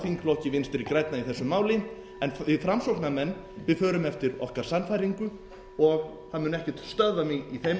þingflokki vinstri grænna í þessu máli við framsóknarmenn förum eftir okkar sannfæringu og það mun ekkert stöðva mig í þeim efnum